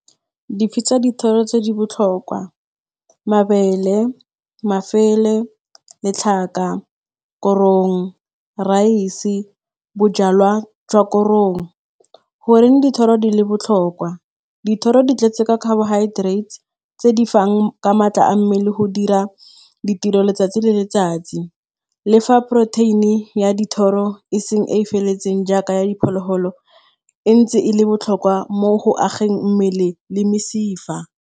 Di dithoro tse di botlhokwa, mabele, mafele, letlhaka, korong, rice, bojalwa jwa korong. Goreng dithoro di le botlhokwa, dithoro di tletse ka carbohydrates tse di fanang ka maatla a mmele go dira ditiro letsatsi le letsatsi. Le fa protein-e ya dithoro e se e e feletseng jaaka ya diphologolo, e ntse e le botlhokwa mo go ageng mmele le mesifa.